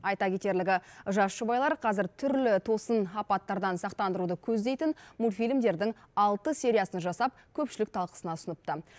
айта кетерлігі жас жұбайлар қазір түрлі тосын апаттардан сақтандыруды көздейтін мультфильмдердің алты сериясын жасап көпшілік талқысына ұсыныпты